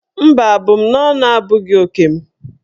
Mba, abụmaọnụ abụghị oke m.